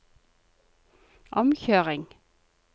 omkjøring